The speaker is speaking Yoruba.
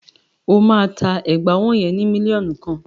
Ó máa ta ẹ̀gbà ọwọ́ yẹn ni mílíọ̀nù kan.